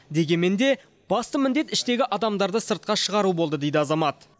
дегенмен де басты міндет іштегі адамдарды сыртқа шығару болды дейді азамат